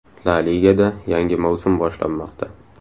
La Ligada yangi mavsum boshlanmoqda.